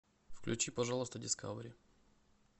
включи пожалуйста дискавери